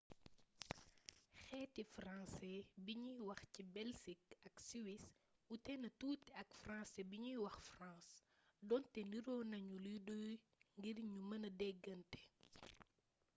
xeeti françaisfrancais bi nuy wax ci belsik ak siwis wuutena tuuti ak françaisfrancais bi nuy wax france donte niroo nañu lu doy ngir ñu mën a déggante